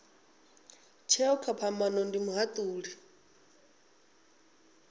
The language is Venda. tsheo kha phambano ndi muhatuli